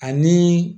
Ani